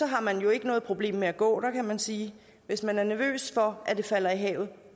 har man jo ikke noget problem med at gå der kan man sige hvis man er nervøs for at det falder i havet